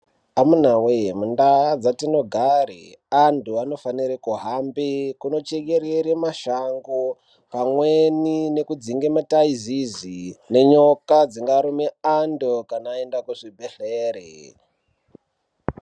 Amunawee mundau dzatinogare antu anofanire kuhambe kunochekerere mashango pamweni nekudzinge mitaizizi nenyoka dzingarume antu kana vaenda kuzvibhedhlere.